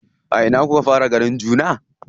A ina kuka fara ganin juna?